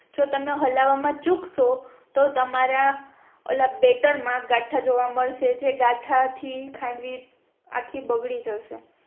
જો તમે હલાવમાં ચૂકશો તો તમારા ઓલા બેટર માં ગાથાં જોવા મળશે જે ગાથાં થી ખાંડવી આખી બગડી જશે